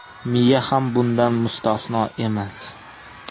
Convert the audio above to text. Miya ham bundan mustasno emas.